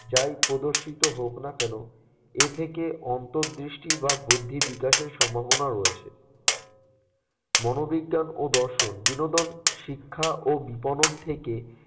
যাই প্রদর্শিত হোক না কেন এ থেকে অন্তর্দৃষ্টি বা বুদ্ধির বিকাশের সম্ভাবনা রয়েছে। মনোবিজ্ঞান ও দর্শন বিনোদন শিক্ষা ও বিপণন থেকে